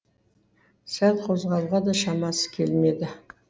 сәл қозғалуға да шамасы келмеді